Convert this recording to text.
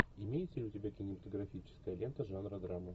имеется ли у тебя кинематографическая лента жанра драма